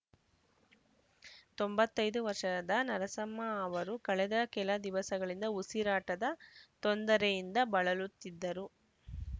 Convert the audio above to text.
ತೊಂಬತ್ತ್ ಐದು ವರ್ಷದ ನರಸಮ್ಮ ಅವರು ಕಳೆದ ಕೆಲ ದಿವಸಗಳಿಂದ ಉಸಿರಾಟದ ತೊಂದರೆಯಿಂದ ಬಳಲುತ್ತಿದ್ದರು